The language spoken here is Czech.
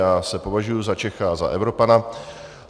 Já se považuju za Čecha a za Evropana.